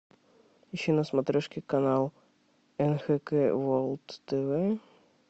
ищи на смотрешке канал нхк ворлд тв